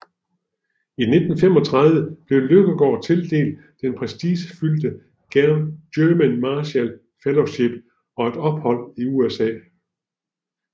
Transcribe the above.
I 1995 blev Løkkegaard tildelt det prestigefyldte German Marshall Fellowship og et ophold i USA